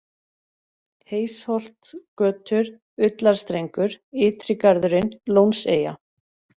Heysholtsgötur, Ullarstrengur, Ytri-Garðurinn, Lónseyja